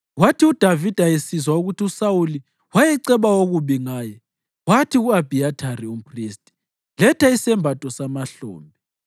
Kwathi uDavida esizwa ukuthi uSawuli wayeceba okubi ngaye, wathi ku-Abhiyathari umphristi, “Letha isembatho samahlombe.”